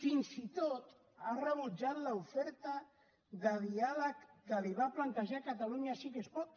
fins i tot ha rebutjat l’oferta de diàleg que li va plantejar catalunya sí que es pot